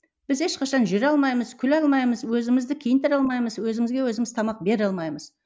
біз ешқашан жүре алмаймыз күле алмаймыз өзімізді киіндіре алмаймыз өзімізге өзіміз тамақ бере алмаймыз